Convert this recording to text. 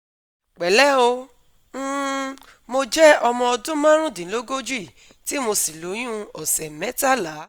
Pẹ̀lẹ́ ẹ o, um Mo jẹ́ ọmọ ọdún marundinlogoji tí mo sì lóyún ọsẹ̀ metala